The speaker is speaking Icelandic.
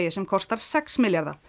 sem kostar sex milljarða